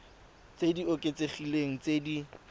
tse di oketsegileng tse di